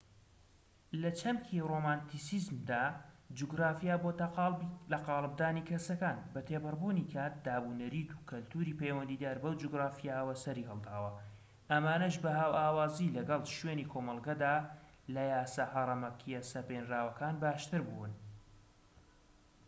لە چەمکی رۆمانتیسیزمدا جوگرافیا بۆتە لەقاڵبدانی کەسەکان بە تێپەڕبوونی کات دابونەریت و کەلتوری پەیوەندیدار بەو جوگرافیایەوە سەری هەڵداوە ئەمانەش بە هاوئاوازی لەگەڵ شوێنی کۆمەڵگەدا لە یاسا هەرەمەکیە سەپێنراوەکان باشتربوون